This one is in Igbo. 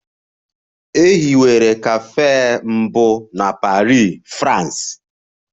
E hiwere cafes mbụ na Paris, France.